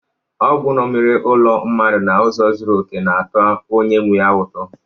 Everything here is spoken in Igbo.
Ogwu ṅomiri olu mmadụ n’ụzọ zuru oke, na-atọ onye nwe ya ụtọ.